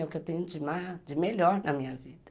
É o que eu tenho de melhor na minha vida.